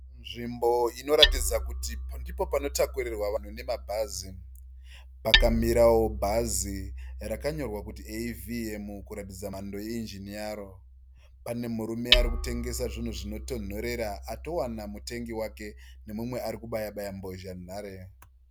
Nzvimbo inotaridza kuti ndipo panotakurirwa vanhu nemabhazi. Pakamirawo bhazi rakanyorwa kuti AVM kuratidza mhando yeinjini yaro. Pane murume ari kutengesa zvinhu zvino tonhorera atowana mutengi wake nemumwe ari kubaya baya mbozhanhare.